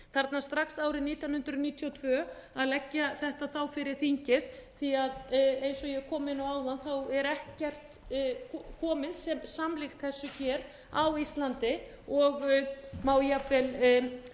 þarna strax árið nítján hundruð níutíu og tvö að leggja þetta fyrir þingið því eins og ég kom inn á áðan er ekkert komið sem slíkt þessu hér á íslandi og má jafnvel segja að einhver